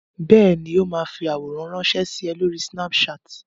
Bẹ́ẹ̀ ni, ó máa fi àwòrán ránṣẹ́ sí ẹ lórí Snapchat.